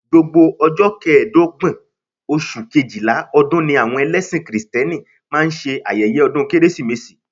Gbogbo ọjọ́ kẹẹ̀dọ́gbọ̀n oṣù Kejìlá ọdún ni àwọn ẹlẹ́sìn kìrìtẹ́nì máa ń ṣe ayẹyẹ ọdún Kérésìmesì